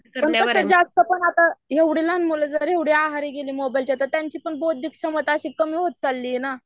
पण तसं जास्त पण यात एवढे लहान मुले जर एवढे आहारी गेले की मोबाईलच्या तर पण त्याची पण बौद्धिक क्षमता अशी कमी होत चालली ये ना